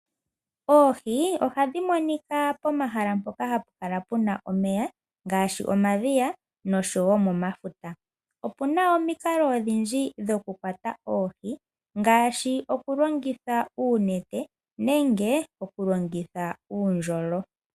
Oohi ohadhi monika pomahala mpoka hapu kala puna oomeya ngashi momadhiya osho wo momafuta. Opuna omikalo odhindji dho kukwata oohi, ngashi oku longitha uunete nenge oku longitha uundjolo.